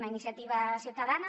una iniciativa ciutadana